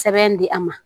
Sɛbɛn di a ma